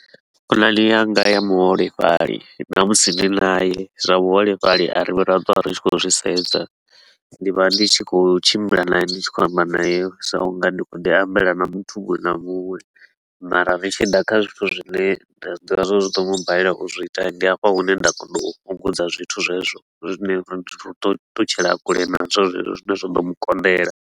Khonani yanga ya muholefhali na musi ndi naye zwa vhuholefhali a ri vhi ra twa ri tshi khou zwi sedza. Ndi vha ndi tshi khou tshimbila nae ndi tshi khou amba nayo sa u nga ndi khou ḓi ambela na muthu munwe na munwe mara ri tshi ḓa kha zwithu zwine nda zwi ḓivha zwa uri zwi ḓo mu balela u zwiita hii, ndi hafha hune nda kona u fhungudza zwithu zwezwo, zwine ra tea u ṱutshela kule nazwo zwezwo zwine zwa ḓo mu konḓela.